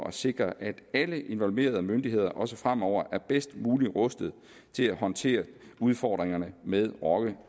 at sikre at alle involverede myndigheder også fremover er bedst muligt rustet til at håndtere udfordringerne med rocker